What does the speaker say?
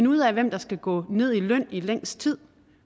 ud af hvem der skal gå ned i løn i længst tid